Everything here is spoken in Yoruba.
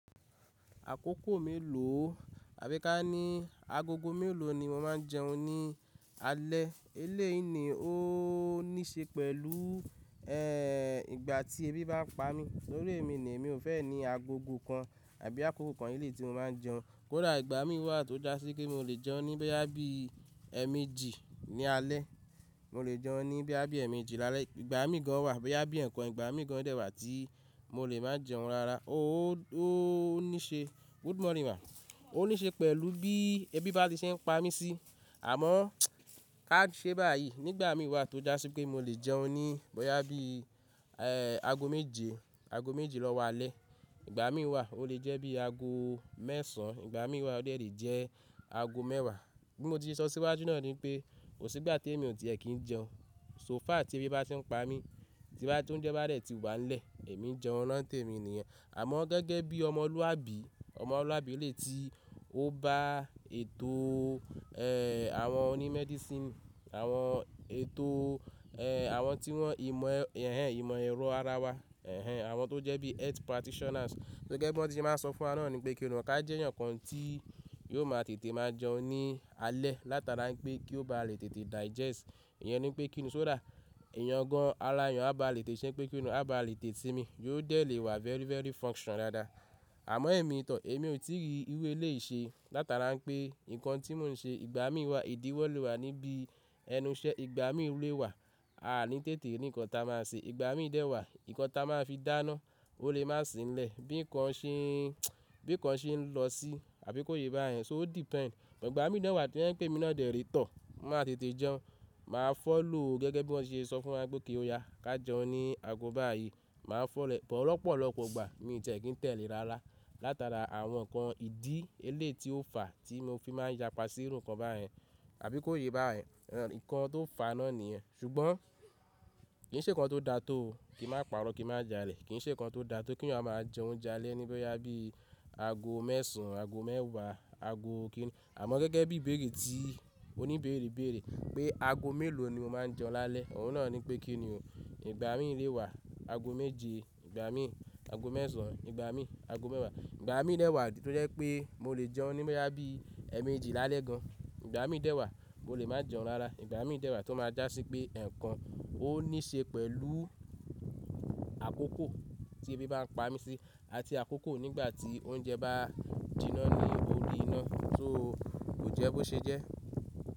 Àkókò mélòó, àbí ká ní agogo mélòó ni mo máa ń jẹun ní alẹ́? Eléyìí ni ó ní ṣe pẹ̀lú, ẹ́, ìgbà tí ebi bá pa mí tórí èmi ni èmi ò fẹ́ ní agogo kan àbí àkókò kan eléyìí tí mo máa ń jẹun. Kódà ìgbà mí wà tó já sí pé mo lè jẹun ni boyá bí ẹ̀ẹ̀mejì ní alẹ́, mo lè jẹun boya bí ẹ̀ẹ̀mejì lálẹ́. Ìgbà mí gan wà bẹ́ yá bí ǹkan, ìgbà mí gan dẹ̀ wà tí mo lè máa jẹun rara. Ó, ó ní ṣe, good morning ma. Ó ní ṣe pẹ̀lú bí ebi bá ti ṣe ń pa mí sí. Àmọ́ ká ṣe báyìí, nígbà mí wà tó já sí pé mo lè jẹun ní boya bí, ẹ́, ago méje, ago méje lọ́wọ́ alẹ́. Ìgbà mí wà ó lè jẹ́ bí ago mẹ́sàn án, ìgbà mí wà ó de lè jẹ́ ago mẹ́wàá. Bí mo ti ṣe sọ síwájú náà ni pé kò sí ìgbà tí èmi ò tiẹ̀ kín jẹun. So far tí ebi bá ti ń pa mí, tí bá ti oúnjẹ bá dẹ̀ ti wà ń lẹ̀, èmi jẹun lo n tèmi nìyẹn. Àmọ́ gẹ́gẹ́ bí ọmọlúwàbí, ọmọlúwàbí eléyìí tí ó bá ètò, ẹ́, àwọn oní medicine, àwọn ètò, ẹ́, àwọn tí wọ́n ìmọ̀, ẹ́, ẹ̀hẹn, ìmọ̀ ẹ̀rọ ara wa, ẹ́, ẹ̀hẹn, àwọn tó jẹ́ bí health practitioners. Gẹ́gẹ́ bí wọ́n ti máa sọ fún wa náà ni pé kíni o ká jẹ́ eyan kan tí yóò máa tètè máa jẹun ní alẹ́. Látara pé kí ó bá lè tètè digest. Ìyẹn ni pé kíni o só dà? Ìyẹn gan ara eyan á bá lè tètè ṣe pé kíni o á bá lè tètè sinmí, yóò dẹ̀ lè wà very, very function dáadáa. Àmọ́ èmi to èmi ò tí ì rí irú eléyìí ṣe. Látara pé nǹkan tí mò ń ṣe, ìgbà mí wà ìdíwọ́ lè wà níbi ẹnu iṣẹ́, ìgbà mí rú ẹ wà, a à ní tètè rí ǹkan tí a máa ṣe. Ìgbà mí dẹ̀ wà, ǹkan tí a máa fi dáná, ó lè má sì ń lẹ̀. Bí ǹkan ṣe ń, bí ǹkan ṣe ń lọ sí, àbí kó yé bá yẹn. So o depends. Ìgbà mí dẹ̀ wà to ye pe mi náà dẹ̀ rì tọ̀. Mo máa tètè jẹun. Màá fọ̀ lọ gẹ́gẹ́ bí wọ́n ṣe sọ fún wa pé kí ó ya. Ka jẹun ní ago báyìí. Màá ko ore but, lọ́pọ̀lọ́pọ̀ ìgbà mi ò tiẹ̀ kín tẹ̀lé rára. Látara àwọn ǹkan ìdí eléyìí tí ó fà tí mo fi máa ń yapa sí irú ǹkan báyẹn. Àbí kó yé bá yẹn. Ẹ̀, ǹkan tó fà á náà nìyẹn. Ṣùgbọ́n kì í ṣe ǹkan tó da tó. Kìi n má pààrọ̀, kì í má jàle Kì í ṣe ǹkan tó da tó kí èèyàn máa jẹ oúnjẹ alẹ́ níbẹ̀ yá bí ago mẹ́sàn án, ago mẹ́wàá, ago kíni. Àmọ́ gẹ́gẹ́ bí ìbéèrè tí oní ìbéèrè bèèrè pé ago mélòó ni mo máa ń jẹun lálẹ́. Òun náà ni pé kíni o. Ìgbà mí le ẹ wà ago méje, ìgbà mí ago mẹ́sàn án, ìgbà mí ago mẹ́wàá. Ìgbà mí dẹ̀ wà tó jẹ́ pé mo lè jẹun níbẹ̀ yá bí ẹ̀ẹ̀mejì lálẹ́ gan. Ìgbà mí dẹ̀ wà mo lè máa jẹun rara. Ìgbà mí dẹ̀ wà tó máa já sí pé ǹkan ó ní ṣe pẹ̀lú àkókò tí ebi bá ń pa mí sí àti àkókò nígbà tí oúnjẹ bá jiná ní orí iná tó kò jẹ́ bó ṣe jẹ́.